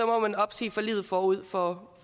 må man opsige forliget forud for